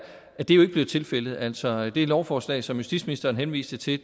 blevet tilfældet altså det lovforslag som justitsministeren henviste til